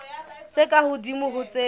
tse ka hodimo ho tse